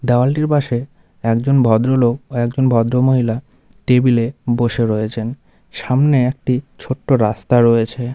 দেওয়ালটির পাশে একজন ভদ্রলোক ও একজন ভদ্রমহিলা টেবিল -এ বসে রয়েছেন। সামনে একটি ছোট্ট রাস্তা রয়েছে।